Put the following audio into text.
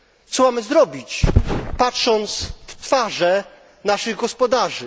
Co mamy zrobić, patrząc na twarze naszych gospodarzy?